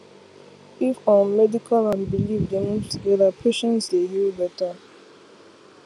if um medical and belief dey move together patients dey heal better